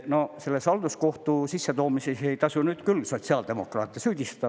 No selle halduskohtu sissetoomisel ei tasu küll sotsiaaldemokraate süüdistada.